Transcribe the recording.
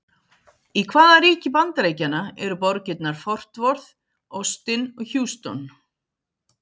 Í hvaða ríki Bandaríkjanna eru borgirnar Fort Worth, Austin og Houston?